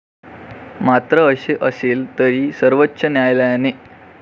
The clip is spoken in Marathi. मात्र असे असेल तरी सर्वोच्च न्यायालयाने.